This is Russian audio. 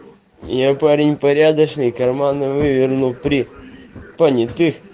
я парень порядочный карманы выверну при понятых